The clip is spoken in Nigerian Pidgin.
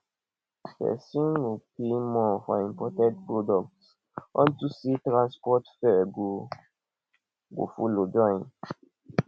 pesin go pay more for imported products unto say transport fare go go follow join